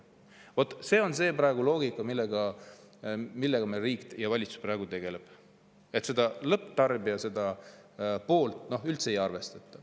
Vot see on praegu see loogika, millega meil riik ja valitsus tegelevad: seda lõpptarbija poolt üldse ei arvestata.